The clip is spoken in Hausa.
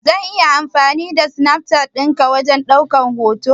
Zan iya amfani da Snapchat din ki wajen daukan hoto?